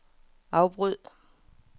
afbryd